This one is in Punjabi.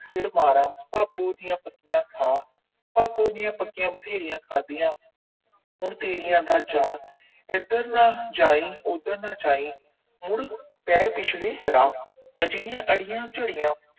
ਸਿਰ ਮਾਰਾ, ਭਾਬੋਂ ਦੀਆਂ ਪੱਕੀਆਂ ਖਾ। ਭਾਬੋਂ ਦੀਆਂ ਪੱਕੀਆਂ ਬਥੇਰੀਆਂ ਖਾਧੀਆਂ, ਹੁਣ ਤੇਰੀਆਂ ਦਾ ਚਾਅ। ਇਧਰ ਨਾ ਜਾਈਂ, ਉਧਰ ਨਾ ਜਾਈਂ, ਮੁੜ ਪੈ ਪਿਛਲੇ ਰਾਹ। ਅਜਿਹੀਆਂ ਅੜੀਆਂ ਝੜੀਆਂ